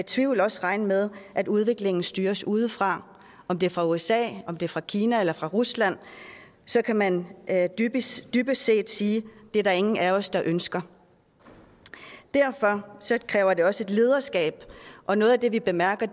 tvivl også regne med at udviklingen styres udefra og om det er fra usa om det er fra kina eller fra rusland så kan man dybest dybest set sige at det er der ingen af os der ønsker derfor kræver det også et lederskab og noget af det vi bemærker